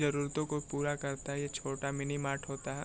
जरूरतों को पूरा करता है ये छोटा मिनी मार्ट होता है।